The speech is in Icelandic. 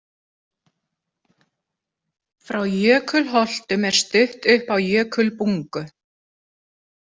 Frá Jökulholtum er stutt upp á Jökulbungu.